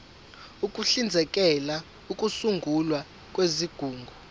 uhlinzekela ukusungulwa kwezigungu